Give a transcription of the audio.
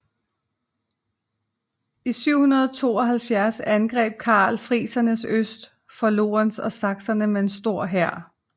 I 772 angreb Karl friserne øst for Lauwers og sakserne med en stor hær